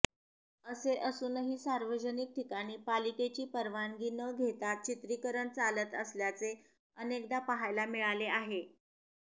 असे असूनही सार्वजनिक ठिकाणी पालिकेची परवानगी न घेताच चित्रीकरण चालत असल्याचे अनेकदा पाहायला मिळाले आहे